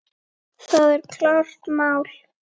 Það er klárt mál.